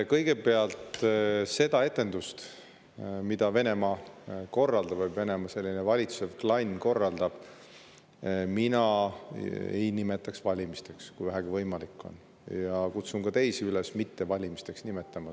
Kõigepealt, seda etendust, mida korraldab Venemaa, Venemaad valitsev klann, ei nimetaks mina valimisteks, kui vähegi võimalik on, ja kutsun ka teisi üles neid mitte valimisteks nimetama.